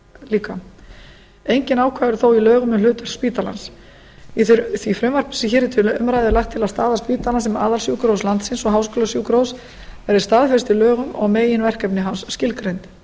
líka engin ákvæði eru þó í lögum um hlutverk spítalans í því frumvarpi sem hér er til umræðu er lagt til að staða spítalans sem aðalsjúkrahúss landsins og háskólasjúkrahúss verði staðfest í lögum og meginverkefni hans skilgreind